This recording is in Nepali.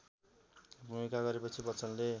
भूमिका गरेपछि बच्चनले